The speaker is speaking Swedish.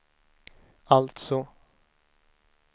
alltså